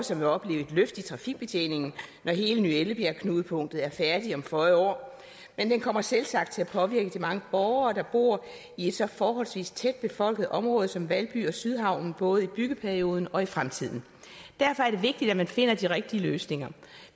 som vil opleve et løft i trafikbetjeningen når hele ny ellebjerg knudepunktet er færdigt om føje år men den kommer selvsagt til at påvirke de mange borgere der bor i et så forholdsvis tæt befolket område som valby og sydhavnen både i byggeperioden og i fremtiden derfor er det vigtigt at man finder de rigtige løsninger